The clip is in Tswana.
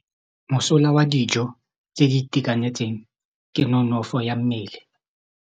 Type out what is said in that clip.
Mosola wa dijô tse di itekanetseng ke nonôfô ya mmele.